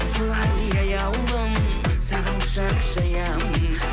солай аяулым саған құшақ жаямын